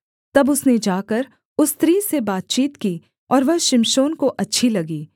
तब उसने जाकर उस स्त्री से बातचीत की और वह शिमशोन को अच्छी लगी